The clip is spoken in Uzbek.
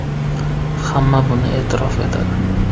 Hamma buni e’tirof etadi.